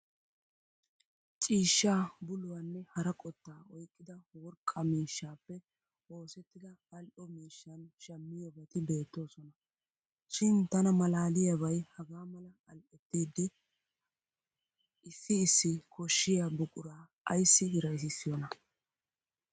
Ciishaa, buluwanne hara qottaa oyqqida worqqaa miishshaappe oosettida aal'o miishshan shammiyobati beettoosona. Shin tana malaaliyaabay hagaa mala al'ettidi issi issi koshshiya buquraa ayssi hiraysissiyoonaa.